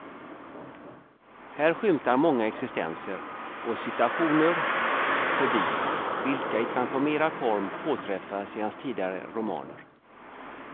Här skymtar många existenser och situationer förbi vilka i transformerad form påträffas i hans tidigare romaner.